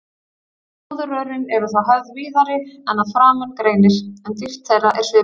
Fóðurrörin eru þá höfð víðari en að framan greinir, en dýpt þeirra er svipuð.